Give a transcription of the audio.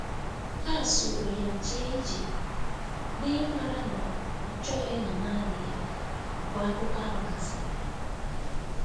Ha soro ya jee ije, n’ịmara na ọ chọghị ịnọ naanị ya mgbe akụkọ ahụ gasịrị.